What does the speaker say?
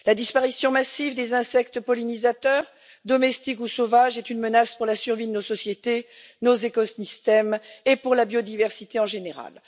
La disparition massive des insectes pollinisateurs, domestiques ou sauvages, est une menace pour la survie de nos sociétés, nos écosystèmes et pour la biodiversité en général.